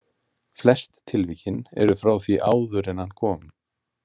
Flest tilvikin eru frá því áður en hann kom.